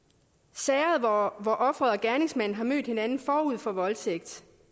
sager hvor offeret og gerningsmanden har mødt hinanden forud for voldtægt